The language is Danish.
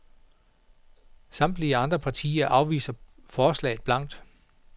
Samtlige andre partier afviser forslaget blankt.